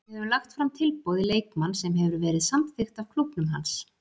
Við höfum lagt fram tilboð í leikmann sem hefur verið samþykkt af klúbbnum hans.